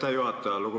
Aitäh, juhataja!